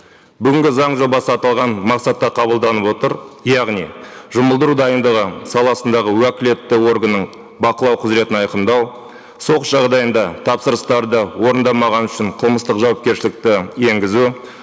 бүгінгі заң жобасы аталған мақсатта қабылданып отыр яғни жұмылдыру дайындығы саласындағы уәкілетті органның бақылау құзыретін айқындау соғыс жағдайында тапсырыстарды орындамаған үшін қылмыстық жауапкершілікті енгізу